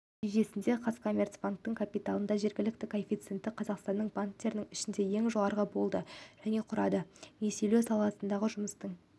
нәтижесінде қазкоммерцбанк капиталының жеткіліктілік коэффициенті қазақстандық банктердің ішінде ең жоғары болды және құрады несиелеу саласындағы жұмыстың